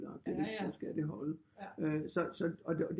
Agtigt ikke så skal det holde øg så og